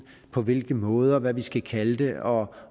på hvilke måder hvad vi skal kalde det og